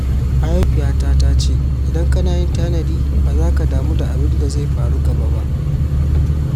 Mahaifiyata ta ce "idan kana yin tanadi, ba zaka damu da abin da zai faru gaba ba."